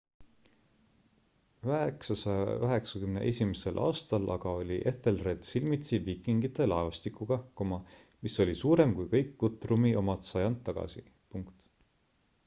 991 aastal aga oli ethelred silmitsi viikingite laevastikuga mis oli suurem kui kõik guthrumi omad sajand tagasi